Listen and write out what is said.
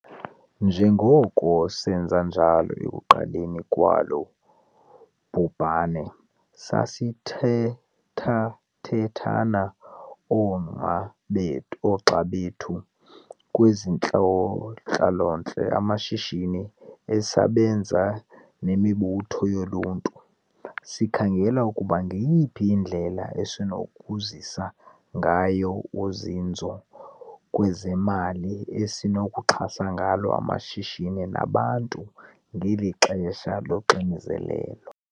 Njengoko senza njalo ekuqaleni kwalo bhubhane, sathethathethana ooma be noogxa bethu kwezentlalontle, amashishini, ezabasebenzi nemibutho yoluntu. Sikhangela ukuba ngeyiphi indlela esinokuzisa ngayo uzinzo kwezemali esinokuxhasa ngalo amashishini nabantu ngeli xesha loxinzelelo.